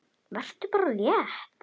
Vertu bara létt!